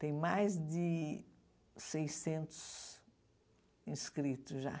Tem mais de seiscentos inscritos já.